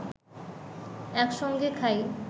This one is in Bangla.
একসঙ্গে খাই